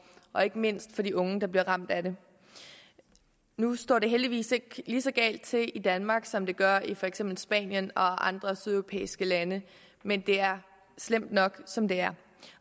og ikke mindst for de unge der bliver ramt af det nu står det heldigvis ikke lige så galt til i danmark som det gør i for eksempel spanien og andre sydeuropæiske lande men det er slemt nok som det er